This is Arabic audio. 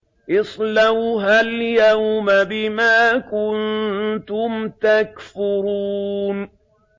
اصْلَوْهَا الْيَوْمَ بِمَا كُنتُمْ تَكْفُرُونَ